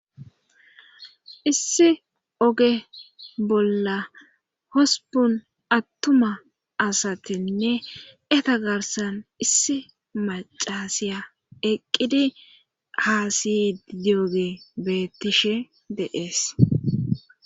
issi oge bolla hospun attuma asatenne eta garsan issi macasiya eqqidi haasiydioge beettishe deees